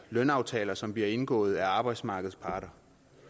lønaftaler som bliver indgået af arbejdsmarkedets parter